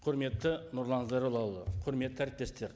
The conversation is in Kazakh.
құрметті нұрлан зайроллаұлы құрметті әріптестер